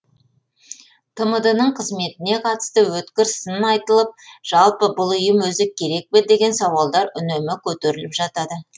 тмд ның қызметіне қатысты өткір сын айтылып жалпы бұл ұйым өзі керек пе деген сауалдар үнемі көтеріліп жатады